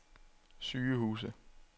sygehuse